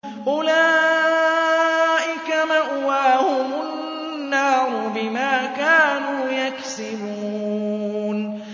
أُولَٰئِكَ مَأْوَاهُمُ النَّارُ بِمَا كَانُوا يَكْسِبُونَ